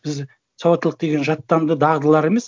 біз сауаттылық деген жаттанды дағдылар емес